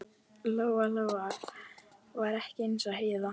Lóa-Lóa var ekki eins og Heiða